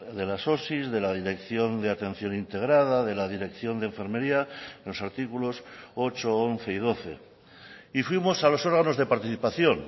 de las osi de la dirección de atención integrada de la dirección de enfermería los artículos ocho once y doce y fuimos a los órganos de participación